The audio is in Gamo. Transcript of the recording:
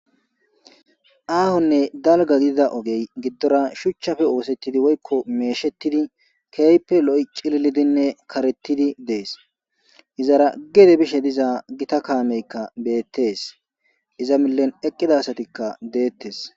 ahonne dalgga gididda ogey giddora shuchchappe oosettidi woykko meeshettidi ke'ippe lo'i cilillidinne karetidi dees izara gede bishshe diiza gitta kameykka bettees iza millen eqqida assatikka dettees